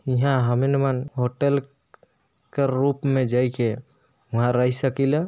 यहा हमिल मन होटल क रूप में जई के वहा रही सकील।